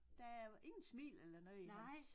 Der er ingen smil eller noget i hans